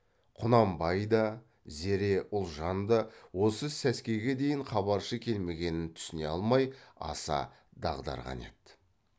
құнанбай да зере ұлжан да осы сәскеге дейін хабаршы келмегенін түсіне алмай аса дағдарған еді